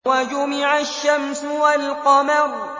وَجُمِعَ الشَّمْسُ وَالْقَمَرُ